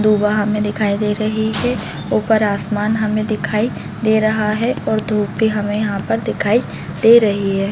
दूबा हमें दिखाई दे रही है ऊपर आसमान हमें दिखाई दे रहा है और धुप भी हमें यहाँ पर दिखाई दे रही है।